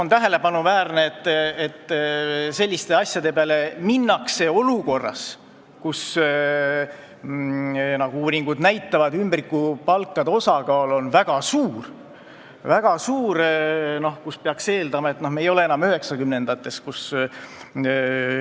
On tähelepanuväärne, et selliste asjade peale minnakse olukorras, kus, nagu uuringud näitavad, ümbrikupalkade osakaal on väga suur, kuigi peaks eeldama, et me ei ela enam üheksakümnendates aastates.